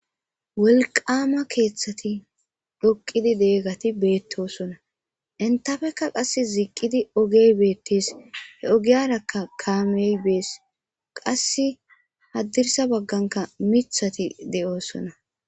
wolqama keeththati dhoqidi deeggati beettosona intafekka qass ziiqqidi ogey beettees he ogiyarakka kaamey bees qass haddirsa bagganka mithati de7oosona